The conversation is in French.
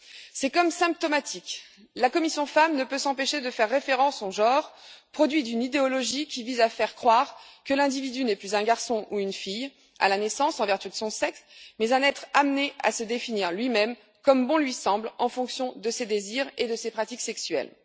C'est quand même symptomatique la commission FEMM ne peut s'empêcher de faire référence au genre, produit d'une idéologie qui vise à faire croire que l'individu n'est plus un garçon ou une fille à la naissance, en vertu de son sexe, mais un être amené à se définir lui même, comme bon lui semble, en fonction de ses désirs et de ses pratiques sexuelles.